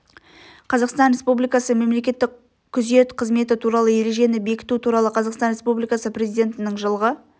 қазақстан республикасы мемлекеттік күзет қызметі туралы ережені бекіту туралы қазақстан республикасы президентінің жылғы